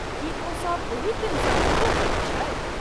की ओ सभ ओही ट्रेनसँ घुरबो करैत छथि?